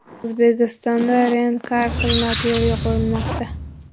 O‘zbekistonda Rent-car xizmati yo‘lga qo‘yilmoqda.